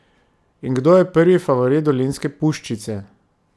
In kdo je prvi favorit Dolenjske puščice?